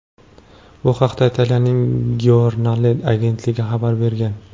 Bu haqda Italiyaning Giornale agentligi xabar bergan .